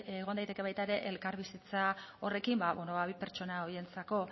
egon daiteke baita ere elkarbizitza horrekin bi pertsona horientzako